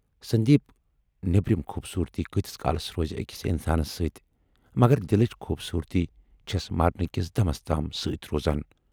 سندیپ نیبرِم خوبصوٗرتی کۭتِس کالس روزِ ٲکِس اِنسانس سۭتۍ، مگر دِلٕچ خوبصوٗرتی چھَس مرنہٕ کِس دمس تام سۭتۍ روزان۔